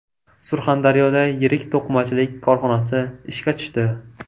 Surxondaryoda yirik to‘qimachilik korxonasi ishga tushdi.